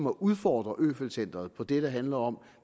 at udfordre øfeldt centret på det der handler om